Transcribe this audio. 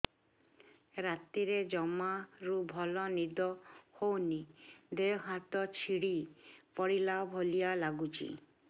ରାତିରେ ଜମାରୁ ଭଲ ନିଦ ହଉନି ଦେହ ହାତ ଛିଡି ପଡିଲା ଭଳିଆ ଲାଗୁଚି